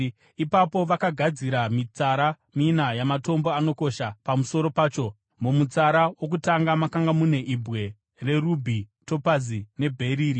Ipapo vakagadzira mitsara mina yamatombo anokosha pamusoro pacho. Mumutsara wokutanga makanga mune ibwe rerubhi, topazi nebheriri;